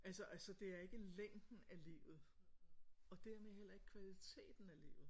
Altså altså det er ikke længden af livet og dermed heller ikke kvaliteten af livet